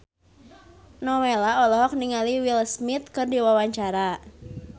Nowela olohok ningali Will Smith keur diwawancara